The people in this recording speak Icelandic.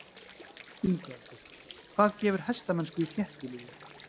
Ingveldur: Hvað gefur hestamennsku í þéttbýli þér?